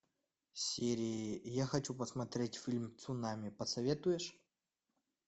сири я хочу посмотреть фильм цунами посоветуешь